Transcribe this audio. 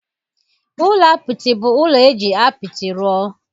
Ụlọ apịtị bụ ụlọ e ji apịtị rụọ